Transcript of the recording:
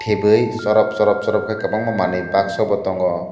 hibui sorap sorap sorap kei kobangma manui baksonbo tango.